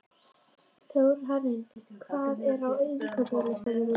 Þórhanna, hvað er á innkaupalistanum mínum?